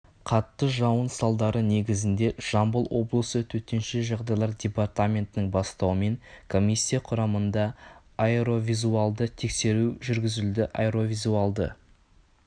қатты жауын салдары негізінде жамбыл облысы төтенше жағдайлар департаментінің бастауымен комиссия құрамында аэровизуалды тексеріс жүргізілді аэровизуалды